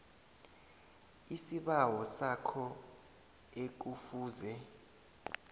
isibawo sakho ekufuze